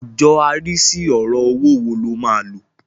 Àjọ arísí ọ̀rọ̀ owó wo lo máa lo?